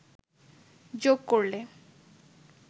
যোগ করলে